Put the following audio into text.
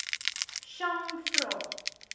chang vra